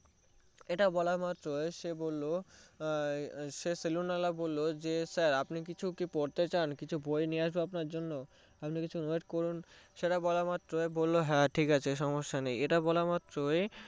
এটা বলা মাত্রই সে বললো সেই সেলুন ওয়ালা বললো যে sir আপনি কিছু কি পড়তে চান আপনার জন্য কি কিছু বই নিয়ে আসবো আপনি কিছুক্ষন wait করুন সেটা বলা মাত্রই বললো হ্যা ঠিকাছে সমস্যা নেই এটা বলা মাত্র